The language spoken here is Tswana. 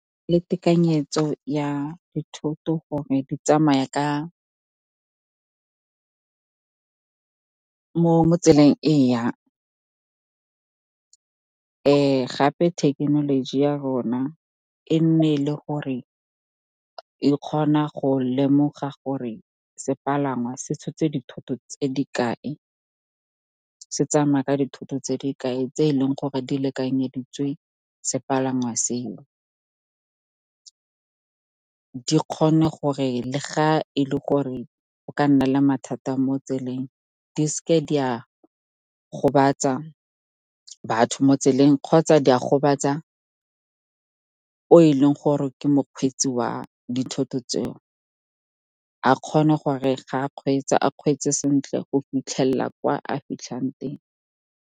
Ke tekanyetso ya dithoto gore di tsamaya mo tseleng e yang. Gape thekenoloji ya rona e nne le gore e kgona go lemoga gore sepalangwa se tshotse dithoto tse di kae, se tsamaya ka dithoto tse di kae, tse e leng gore di lekanyeditswe sepalangwa seo. Di kgone gore, le ga e le gore o ka nna le mathata mo tseleng, di seke di a gobatsa batho mo tseleng kgotsa di a gobatsa o e leng gore ke mokgweetsi wa dithoto tseo, a kgone gore ga a kgweetsa, a kgweetse sentle go fitlhelela kwa a fitlhang teng.